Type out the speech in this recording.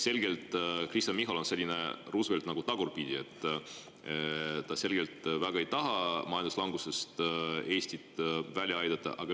Kristen Michal on selgelt nagu tagurpidi Roosevelt, ta ei taha väga Eestit majanduslangusest välja aidata.